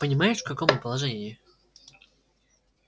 понимаешь в каком мы положении